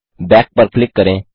back पर click करें